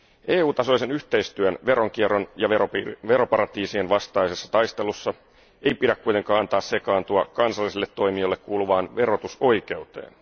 EU tasoisessa yhteistyössä veronkierron ja veroparatiisien vastaisessa taistelussa ei pidä kuitenkaan sekaantua kansalliselle toimijalle kuuluvaan verotusoikeuteen.